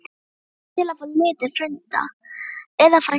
Ég hlakka til að fá lítinn frænda. eða frænku!